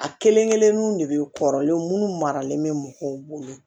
A kelen kelennu de bɛ kɔrɔlen minnu maralen bɛ mɔgɔw bolo